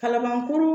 Kalabankɔrɔ